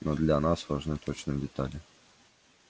но для нас важны точные детали